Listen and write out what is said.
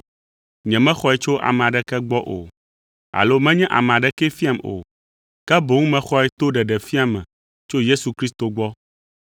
Nyemexɔe tso ame aɖeke gbɔ o, alo menye ame aɖekee fiam o, ke boŋ mexɔe to ɖeɖefia me tso Yesu Kristo gbɔ.